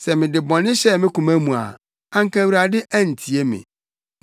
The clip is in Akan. Sɛ mede bɔne hyɛɛ me koma mu a, anka Awurade antie me.